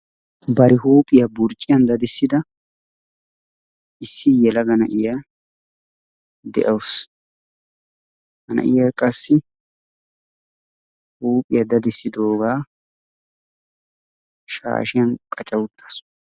Bati huuphiya burcciyan daddissida issi yelaga na'iya de'awusu. Ha na'iya qassi huuphiya daddissidoogaa shaashiyan qacca uttaasu.